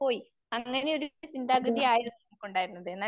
അതെ